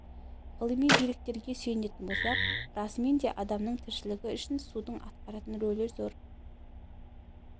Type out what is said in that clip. ғылыми деректерге сүйенетін болсақ расымен де адамның тіршілігі үшін судың атқаратын ролі зор